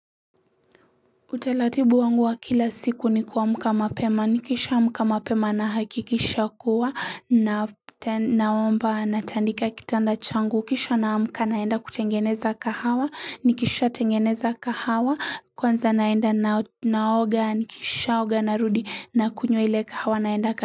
Utaratibu wangu wa kila siku ni kuamka mapema. Nikisha amka mapema na hakikisha kuwa naomba natandika kitanda changu. Kisha naamka naenda kutengeneza kahawa. Nikisha tengeneza kahawa. Kwanza naenda naoga. Nikisha oga narudi na kunywa ile kahawa naenda ka.